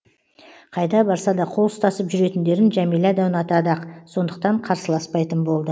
қайда барса да қол ұстасып жүретіндерін жәмила да ұнатады ақ сондықтан қарсыласпайтын болды